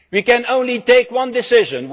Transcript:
We can only take one decision.